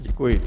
Děkuji.